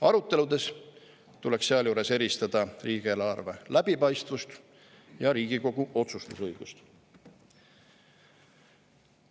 Aruteludes tuleks sealjuures eristada riigieelarve läbipaistvust ja Riigikogu otsustusõigust.